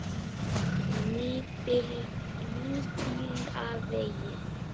Nýbýlavegi